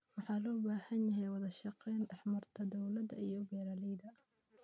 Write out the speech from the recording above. Waxaa loo baahan yahay wadashaqeyn dhexmarta dowladda iyo beeraleyda.